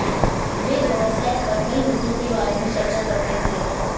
वे दोनों सेट पर कई मुद्दों के बारे में चर्चा करते थे